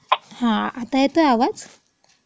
हा. आता येतोय आवाज?